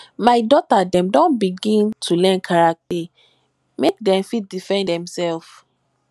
my dota dem don begin dey learn karate make dem fit dey defend demsef